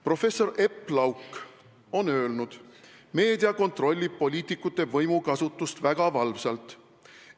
Professor Epp Lauk on öelnud: "Meedia kontrollib poliitikute võimukasutust väga valvsalt.